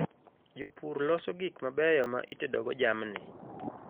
Jopur loso gik mabeyo ma itedogo jamni.